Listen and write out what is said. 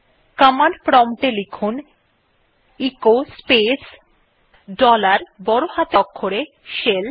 command prompt এ লিখুন echo space dollar বড় হাতের অক্ষরে শেল